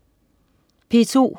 P2: